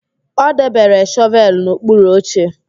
O debere shọvelụ n'okpuru oche.